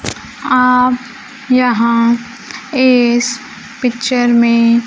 आप यहां इस पिक्चर में--